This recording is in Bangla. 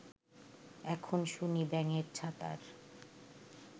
এখন শুনি ব্যাঙের ছাতার